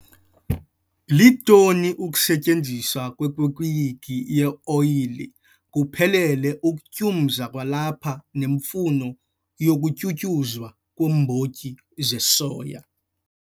Litoni ukusetyenziswa kwekeyiki yeoyile kuphelele, ukutyumza kwalapha nemfuno yokutyunyuzwa kweembotyi zesoya.